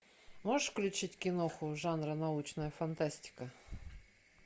можешь включить киноху жанра научная фантастика